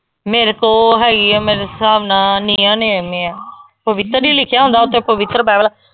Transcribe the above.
ਮੇਰੇ ਕੋ ਹੈਗੀ ਆ ਮੇਰੇ ਹਿਸਾਬ ਨਾਲ ਆ ਪਵਿੱਤਰ ਨਹੀਂ ਲਿਖਿਆ ਹੁੰਦਾ ਓਹਦੇ ਤੇ ਪਵਿੱਤਰ ਬਾਈਬਲ।